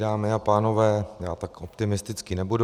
Dámy a pánové, já tak optimistický nebudu.